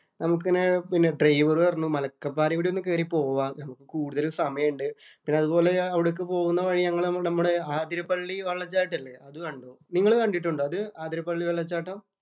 നമുക്കിങ്ങനെ ഡ്രൈവര്‍ പറഞ്ഞു മലക്കപ്പാറെ കൂടി ഒന്ന് കയറി പോവാം എന്ന്. കൂടുതല്‍ സമയം ഒണ്ട്. പിന്നെ അതുപോലെ അവിടേക്ക് പോകുന്ന വഴി നമ്മുടെ ആതിരപ്പള്ളി വെള്ളച്ചാട്ടം ഇല്ലേ. അത് കണ്ടു. നിങ്ങള് കണ്ടിട്ടുണ്ടോ അത്? ആതിരപ്പള്ളി വെള്ളച്ചാട്ടം.